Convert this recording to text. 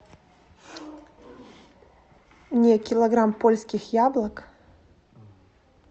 мне килограмм польских яблок